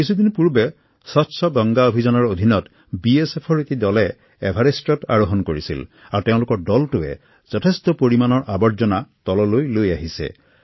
কিছুদিন পূৰ্বে স্বচ্ছ গংগা অভিযানৰ অধীনত বিএছএপৰ এটি দলে এভাৰেষ্টত আৰোহন কৰিছিল আৰু তেওঁলোকে যথেষ্ট পৰিমাণৰ আৱৰ্জনা তললৈ লৈ আহিছিল